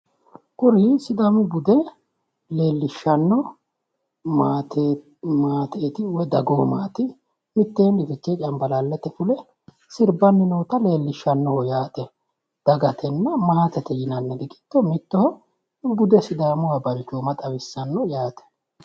Kuri sidaamu bude leellishshano maateeti woy dagoomaati mitteenni ficee cambalaallate fule sirbanni noota leellishanoho yaate dagatenna maatete yinnanniri giddo mittoho bude sidaamunniha balchooma xawissano yaate.